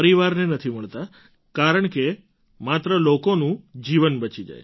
પરિવારને નથી મળતાં કારણકે માત્ર લોકોનો જીવન બચી જાય